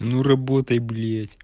а ну работай блять